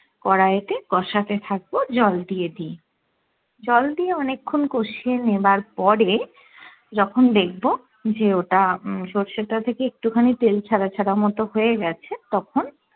কড়াই তে কষাতে থাকবো জল দিয়ে দিয়ে জল দিয়ে অনেক্ষন কসিয়ে নেয়ার পরে যখন দেখবো যে ওটা উম সর্ষেটা থেকে একটু খানি তেল ছাড়া ছাড়া মতো হয়ে গেছে তখন